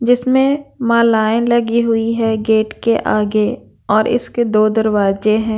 जिसमें मालाएं लगी हुई हैं गेट के आगे और इसके दो दरवाजे हैं।